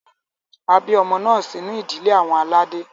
A bi ọmọ naa sinu idile awọn alade.